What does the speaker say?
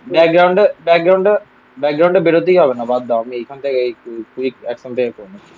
background টা, background টা, background টা বেরোতেই হবে না, বাদ দাও, আমি এইখান থেকে এখন থেকে করে নিচ্ছি